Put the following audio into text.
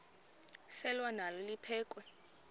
selwa nalo liphekhwe